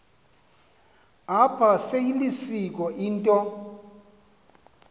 apha seyilisiko into